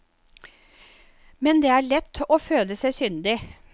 Men det er lett å føle seg syndig.